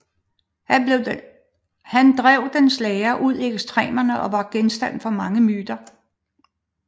Han drev dens lære ud i ekstremerne og var genstand for mange myter